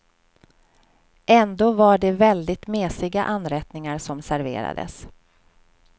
Ändå var det väldigt mesiga anrättningar som serverades.